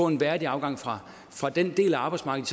en værdig afgang fra den del af arbejdsmarkedet